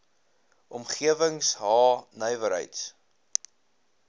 omgewings h nywerheids